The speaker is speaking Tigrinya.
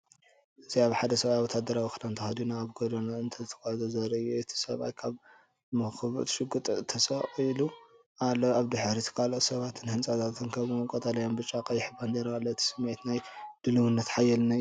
እዚ ሓደ ሰብኣይ ወተሃደራዊ ክዳን ተኸዲኑ ኣብ ጎደና እናተጓዕዘ ዘርኢ እዩ። እቲ ሰብኣይ ኣብ መንኵቡ ሽጉጥ ተሰቒሉ ኣሎ። ኣብ ድሕሪት ካልኦት ሰባትን ህንጻታትን ከምኡ’ውን ቀጠልያን ብጫን ቀይሕን ባንዴራ ኣሎ። እቲ ስምዒት ናይ ድልውነትን ሓይልን እዩ።